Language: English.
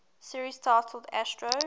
series titled astro